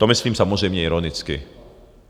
To myslím samozřejmě ironicky.